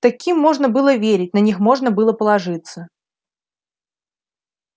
таким можно было верить на них можно было положиться